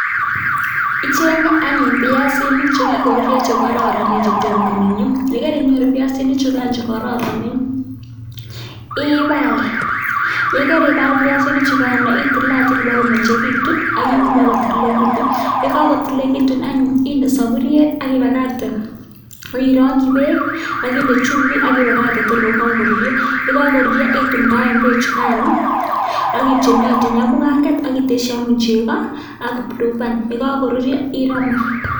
Icheng'e anyun biasinik chekikorurio chekororonen chetom konunio, yekerinyoru biasinichukan chuu kororonen ibaal, yekeribal biasinichukan itilatil ibo komeng'ekitun ak iuun bakotililekitun, yekokotililekitun anyun inde soburiet ak ibakakte okirongyi beek ak inde chumbik ak ibakakte tor ko kokorurio, yekokorurio itumndaen beechukano ak itionyationy ak mukanget ak iteshi anyun chekoo ak blueban, yekokoruryo iromu.